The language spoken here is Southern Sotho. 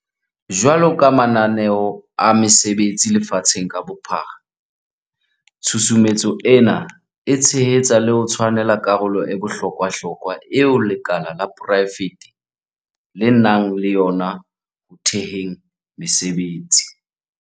Jwalo ka mananeo a mesebetsi lefatsheng ka bophara, tshusumetso ena e tshehetsa le ho tshwanela karolo e bohlo kwahlokwa eo lekala la porae fete le nang le yona ho theheng mesebetsi.